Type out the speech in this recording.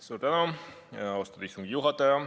Suur tänu, austatud istungi juhataja!